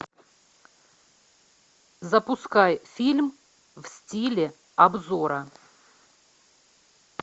запускай фильм в стиле обзора